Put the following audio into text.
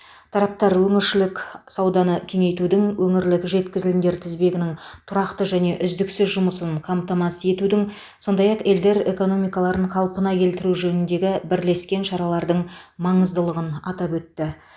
тараптар өңірішілік сауданы кеңейтудің өңірлік жеткізілімдер тізбегінің тұрақты және үздіксіз жұмысының қамтамасыз етудің сондай ақ елдер экономикаларын қалпына келтіру жөніндегі бірлескен шаралардың маңыздылығын атап өтті